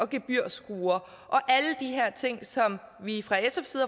gebyrskruer og alle de her ting som vi fra sfs